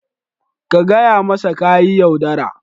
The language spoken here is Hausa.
Ka gaya masa ka yi yaudara.